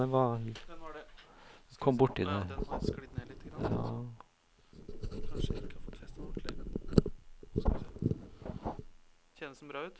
tre seks fem to førtien seks hundre og trettito